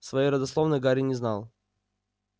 своей родословной гарри не знал